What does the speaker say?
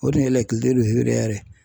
O de ye lakileru yɛrɛ dayɛlɛ.